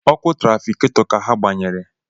Ọkụ trafikato ka ha gbanyere